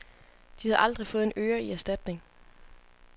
De har aldrig fået en øre i erstatning.